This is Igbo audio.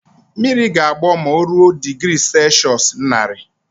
Mmiri ga-agbọ ma o ruo digri selshụs naari